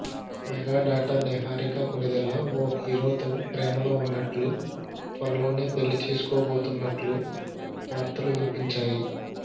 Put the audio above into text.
mega daughter Niharika Konidela ఓ హీరోతో ప్రేమలో ఉన్నట్లు త్వరలోనే పెళ్లి చేసుకోబోతున్నట్లు వార్తలు వినిపించాయి